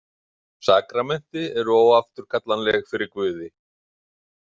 Sakramenti eru óafturkallanleg fyrir Guði.